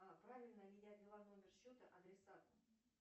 правильно ли я ввела номер счета адресата